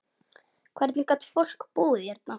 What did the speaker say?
Hvernig gat fólk búið hérna?